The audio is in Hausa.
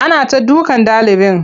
Ana ta dukan ɗalibin.